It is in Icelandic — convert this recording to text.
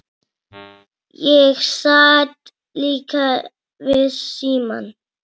Ég sat líka við símann.